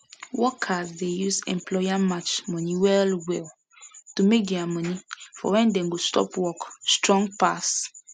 workers dey use employer match money well well to make their money for when dem go stop work strong pass